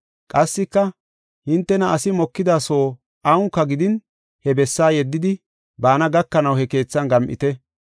Qassika, “Hintena asi mokida soo awunka gidin he bessaa yeddidi baana gakanaw he keethan gam7ite.